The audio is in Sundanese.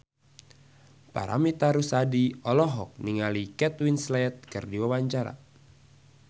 Paramitha Rusady olohok ningali Kate Winslet keur diwawancara